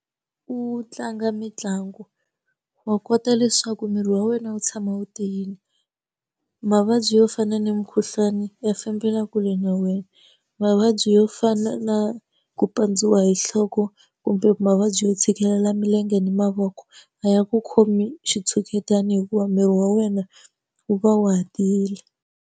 U tlanga mitlangu wa kota leswaku miri wa wena wu tshama wu tiyile. Mavabyi yo fana na mukhuhlwani ya fambela kule na wena, mavabyi yo ku fana na ku pandziwa hi nhloko kumbe mavabyi yo tshikelela milenge ni mavoko, a ya ku khomi hi xitshuketani hikuva miri wa wena wu va wu ha tiyile.